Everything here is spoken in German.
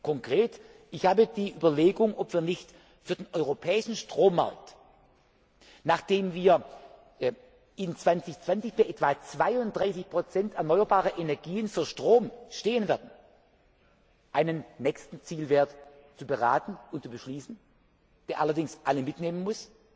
sein. Konkret Ich habe die Überlegung, ob wir nicht für den europäischen Strommarkt, nachdem wir 2020 bei etwa 32 erneuerbaren Energien für Strom stehen werden, einen nächsten Zielwert prüfen und beschließen, der allerdings alle mitnehmen